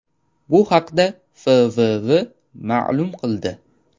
Bu haqda FVV ma’lum qildi .